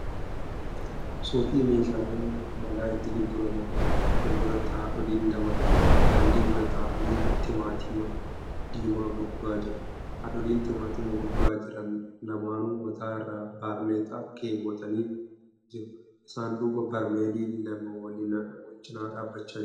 Suuqii meeshaaleen manaa itti gurguraman fuulduratti haadholiin lama daandii irra taa'aanii timaatima diimaa gurguraa jiru. Hadhooliin timaatima gurguraa jiran lamaanuu mataa irraa baarneexaa keewwatanii jiru. Isaan duuba barmeelli lama walinaa dhaabbachaa jiru.